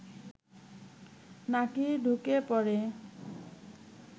নাকি ঢুকে পড়ে